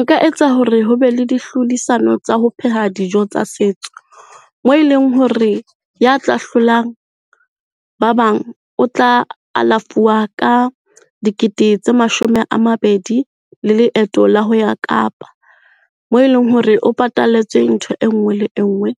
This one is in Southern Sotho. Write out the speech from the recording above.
Nka etsa hore ho be le dihlodisano tsa ho pheha dijo tsa setso. Moo e leng hore ya tla hlolang ba bang, o tla alafuwa ka dikete tse mashome a mabedi le leeto la ho ya Kapa. Moo e leng hore o patalletswe ntho e nngwe le nngwe